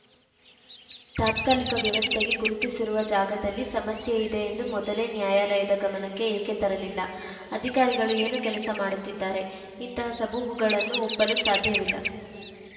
ತಾತ್ಕಾಲಿಕ ವ್ಯವಸ್ಥೆಗೆ ಗುರುತಿಸಿರುವ ಜಾಗದಲ್ಲಿ ಸಮಸ್ಯೆ ಇದೆ ಎಂದು ಮೊದಲೇ ನ್ಯಾಯಾಲಯದ ಗಮನಕ್ಕೆ ಏಕೆ ತರಲಿಲ್ಲ ಅಧಿಕಾರಿಗಳು ಏನು ಕೆಲಸ ಮಾಡುತ್ತಿದ್ದಾರೆ ಇಂತಹ ಸಬೂಬುಗಳನ್ನು ಒಪ್ಪಲು ಸಾಧ್ಯವಿಲ್ಲ